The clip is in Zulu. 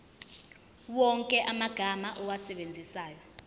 wonke amagama owasebenzisayo